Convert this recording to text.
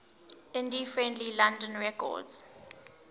indie friendly london records